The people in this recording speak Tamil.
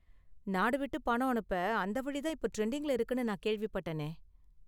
நாடு விட்டு பணம் அனுப்ப அந்த வழி தான் இப்போ டிரெண்டிங்ல இருக்குனு நான் கேள்விப்பட்டேனே